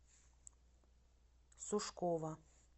сушкова